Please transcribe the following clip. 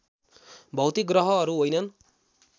भौतिक ग्रहहरू होइनन्